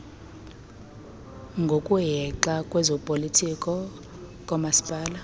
ngokuhexa kwezopolitiko koomasipala